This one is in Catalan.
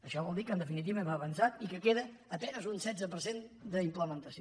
això vol dir que en definitiva hem avançat i que queda a penes un setze per cent d’implementació